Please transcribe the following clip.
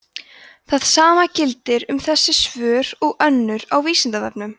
það sama gildir um þessi svör og önnur á vísindavefnum